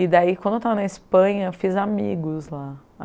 E daí, quando eu estava na Espanha, eu fiz amigos lá.